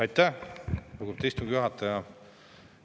Aitäh, lugupeetud istungi juhataja!